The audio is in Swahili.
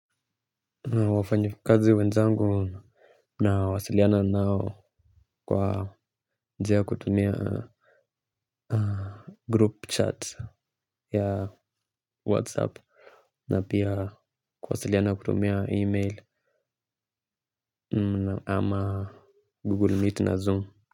Wafanyikazi wenzangu nawasiliana nao kwa njia ya kutumia group chat ya whatsapp na pia kuwasiliana kutumia email ama google meet na zoom.